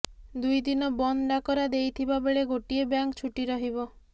ଦୁଇ ଦିନ ବନ୍ଦ ଡାକରା ଦେଇଥିବା ବେଳେ ଗୋଟିଏ ବ୍ୟାଙ୍କ ଛୁଟି ରହିବ